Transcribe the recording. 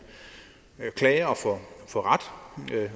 klager